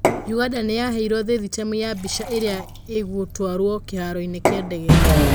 Uganda nĩ yaheirwo thithitemu ya mbica ĩrĩa ĩgũtwarwo kĩharoinĩ kĩa ndege.